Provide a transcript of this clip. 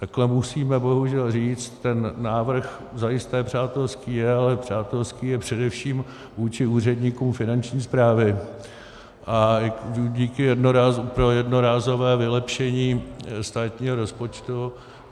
Takhle musíme bohužel říct, ten návrh zajisté přátelský je, ale přátelský je především vůči úředníkům Finanční správy a pro jednorázové vylepšení státního rozpočtu.